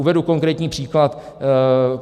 Uvedu konkrétní příklad.